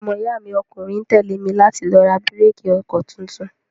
Ọmọ iya mi ọkùnrin tẹ́lé mi láti lọ ra bíréékì ọkọ tuntun.